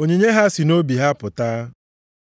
Onyinye ha si nʼobi ha pụta.